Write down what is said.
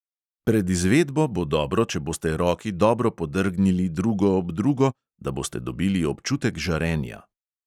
Pred izvedbo bo dobro, če boste roki dobro podrgnili drugo ob drugo, da boste dobili občutek žarenja.